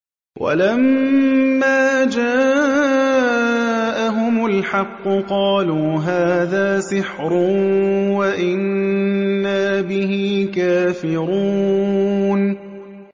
وَلَمَّا جَاءَهُمُ الْحَقُّ قَالُوا هَٰذَا سِحْرٌ وَإِنَّا بِهِ كَافِرُونَ